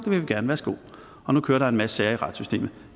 vil vi gerne værsgo og nu kører der en masse sager i retssystemet